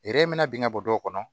mina bin ka bɔ du kɔnɔ